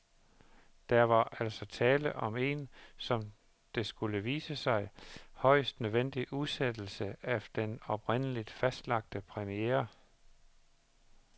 Der var altså tale om en, som det skulle vise sig, højst nødvendig udsættelse af den oprindeligt fastlagte premiere.